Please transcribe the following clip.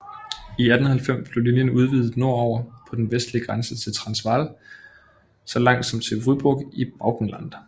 I 1890 blev linjen udvidet nordover på den vestlige grænse til Transvaal så langt som til Vryburg i Bechuanaland